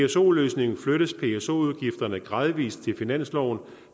pso løsningen flyttes pso udgifterne gradvis til finansloven